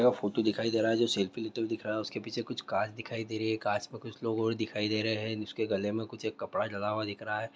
Photo दिखाई दे रहा है जो सेल्फी लेते दिख रहा है उस क पीछे कांच दिखाई दे रहा है आस पास लोग दिखाई दे रहे हैं उसके गले के पीछे एक कपड़ा डला हुआ है ।